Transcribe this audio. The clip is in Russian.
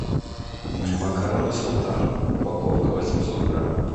макароны султан упаковка восемьсот грамм